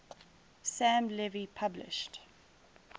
sam levy published